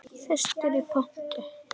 Fyrstur í pontu.